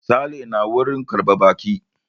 Sale na wurin karɓar baƙi.